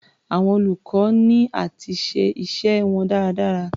Àwọn olùkọ́ ní áti ṣe iṣẹ́ wọn dáradára.